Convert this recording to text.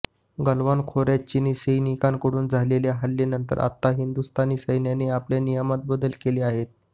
गलवान खोऱ्यात चिनी सैन्याकडून झालेल्या हल्ल्यानंतर आता हिंदुस्थानी सैन्याने आपल्या नियमांत बदल केले आहेत